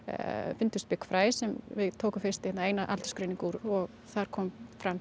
fundust byggfræ sem við tókum fyrst eina eina aldursgreiningu úr og þar kom